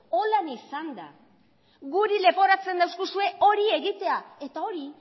horrela izanda guri leporatzen diguzue hori egitea eta hori